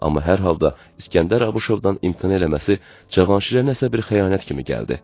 Amma hər halda İsgəndər Abışovdan imtina eləməsi Cavanşirə nəsə bir xəyanət kimi gəldi.